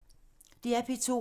DR P2